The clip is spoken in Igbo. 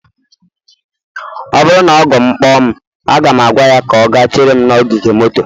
ọ bụrụ na ọgọ m kpọ mụ, aga m agwa ya ka ọ gaa chere m n'ogige moto